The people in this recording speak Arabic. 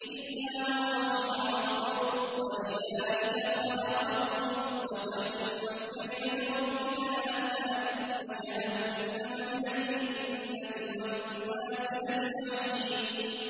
إِلَّا مَن رَّحِمَ رَبُّكَ ۚ وَلِذَٰلِكَ خَلَقَهُمْ ۗ وَتَمَّتْ كَلِمَةُ رَبِّكَ لَأَمْلَأَنَّ جَهَنَّمَ مِنَ الْجِنَّةِ وَالنَّاسِ أَجْمَعِينَ